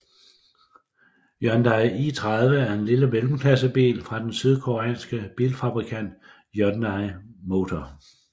Hyundai i30 er en lille mellemklassebil fra den sydkoreanske bilfabrikant Hyundai Motor